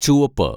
ചുവപ്പ്